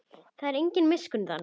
Það er engin miskunn þarna.